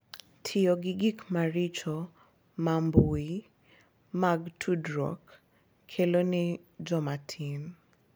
Tiyo gi gik maricho ma mbui mag tudruok kelo ne joma tin.